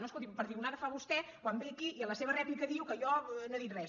no escolti’m perdigonada ho fa vostè quan ve aquí i en la seva rèplica diu que jo no he dit res